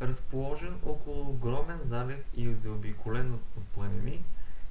разположен около огромен залив и заобиколен от планини